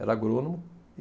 Era agrônomo.